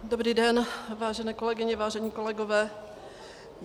Dobrý den, vážené kolegyně, vážení kolegové.